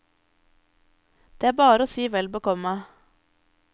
Det er bare å si velbekomme.